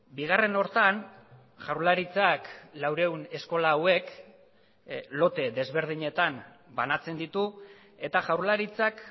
bigarren horretan jaurlaritzak laurehun eskola hauek lote desberdinetan banatzen ditu eta jaurlaritzak